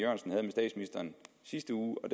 sidste uge og